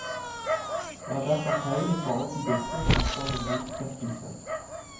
Det er derfor feil i forhold til disse å snakke om en utsettelse.